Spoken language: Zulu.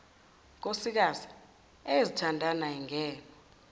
nkosikazi eyezithandani ayingenwa